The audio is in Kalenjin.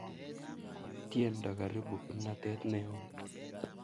tiendo karibu kimnatet neoo